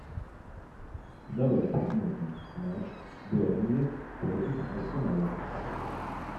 давай посмотрим матч бернли против арсенала